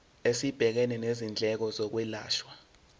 esibhekene nezindleko zokwelashwa